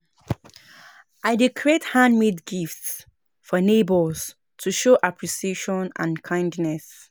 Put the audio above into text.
I dey create handmade gifts for neighbors to show appreciation and kindness.